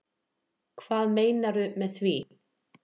Hvað meinarðu með því?